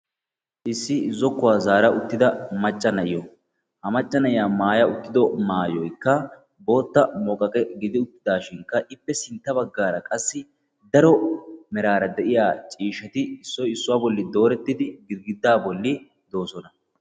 Isso zokkuwa zaara uttidda maca na'iyo. Ha na'iya maayoy bootta muqaqqe gidishin i matan darobbatti de'osonna.